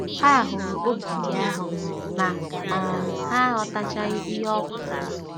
Ha hụrụ ogidi ahụ, ma um ha aghọtachaghị ihe ọ pụtara.